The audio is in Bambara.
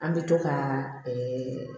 An bɛ to ka